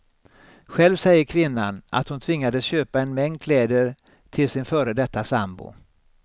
Själv säger kvinnan att hon tvingades köpa en mängd kläder till sin före detta sambo.